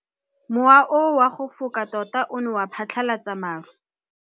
O neetswe tumalanô ya go tsaya loetô la go ya kwa China.